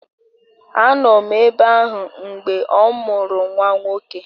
Anọ m ebe ahụ mgbe ọ mụrụ nwa nwoke